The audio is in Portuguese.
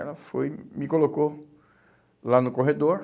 Ela foi, me colocou lá no corredor.